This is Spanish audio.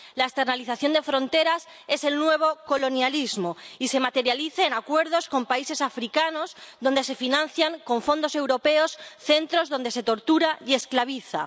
La externalización de fronteras es el nuevo colonialismo y se materializa en acuerdos con países africanos donde se financian con fondos europeos centros donde se tortura y esclaviza.